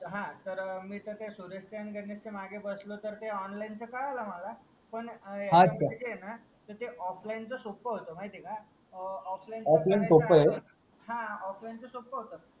हा तर सुरेश च्या आणि गणेश च्या मागे बसलोतर ते ओनलाईन च कळेल ना मला पण हात का त ते ऑफलाईन चा सोपा होता माहिती हाय का अ ऑफलाईन सोप आहे हा ऑफलाईन चा सोप होत